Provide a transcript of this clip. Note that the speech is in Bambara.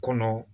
Kɔnɔ